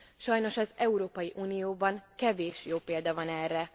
Sajnos az Európai Unióban kevés jó példa van erre.